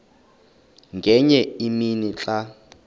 ngenye imini xa